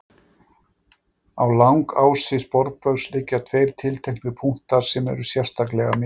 Á langási sporbaugs liggja tveir tilteknir punktar sem eru sérstaklega mikilvægir.